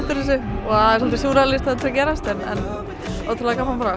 og svolítið súrrealískt að þetta sé að gerast en ótrúlega gaman bara